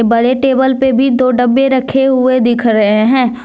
बड़े टेबल पे भी दो डब्बे रखे हुए दिख रहे हैं।